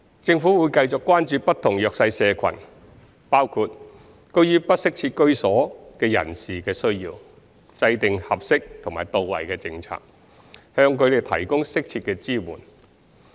政府會繼續關注不同弱勢社群，包括居於不適切居所的人士的需要，制訂合適及到位的政策，向他們提供適切的支援。